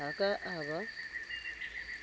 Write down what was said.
ha a ka a ba